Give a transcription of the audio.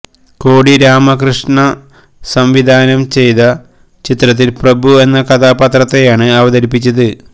കോടി രാമകൃഷ്മ സംവിധാനം ചെയ്ത ചിത്രത്തിൽ പ്രഭു എന്ന കഥാപാത്രത്തെയാണ് അവതരിപ്പിച്ചത്